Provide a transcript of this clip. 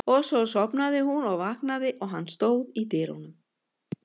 Og svo sofnaði hún og vaknaði og hann stóð í dyrunum.